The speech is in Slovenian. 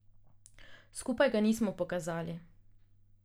Skupaj ga nismo pokazali.